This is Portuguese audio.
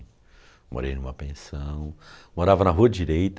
Morei em uma pensão, morava na Rua Direita.